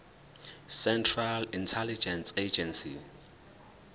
central intelligence agency